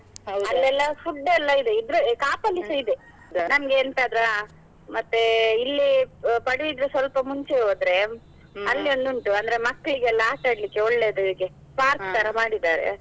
food ಎಲ್ಲ ಇದೆ, ಇದ್ರೆ ಕಾಪಲ್ಲಿಸ ಇದೆ ಎಂತಾದ್ರೂ ಹಾ, ಮತ್ತೆ ಇಲ್ಲಿ ಆ ಪಡುಬಿದ್ರಿ ಮುಂಚೆ ಹೋದ್ರೆ ಒಂದು ಉಂಟು ಅಂದ್ರೆ ಮಕ್ಳಿಗೆಲ್ಲ ಆಟಡ್ಲಿಕ್ಕೆ ಒಳ್ಳೇದು ಹೀಗೆ ತರ ಮಾಡಿದ್ದಾರೆ.